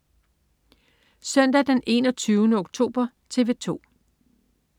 Søndag den 21. oktober - TV 2: